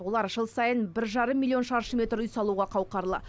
олар жыл сайын бір жарым миллион шаршы метр үй салуға қауқарлы